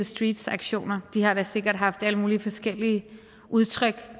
streets aktioner de har da sikkert haft alle mulige forskellige udtryk